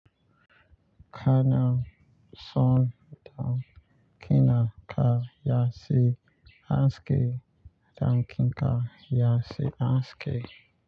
Ka na son damƙina ka ya ce aske, damƙinka ya ce aske.